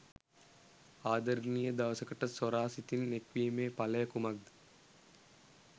ආදරණීය දවසකට සොර සිතින් එක්වීමේ ඵලය කුමක්ද?